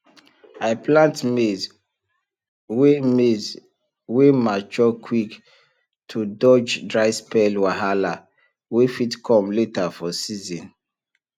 i plant maize wey maize wey mature quick to dodge dry spell wahala wey fit come later for season